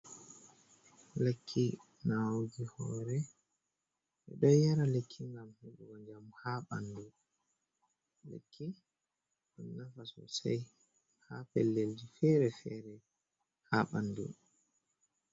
Lekki nawugo hore. be ɗo yara lekki ngam hedugo jamu ha banɗu. lekki don nafa sosai ha pellelji fere-fere ha banɗu.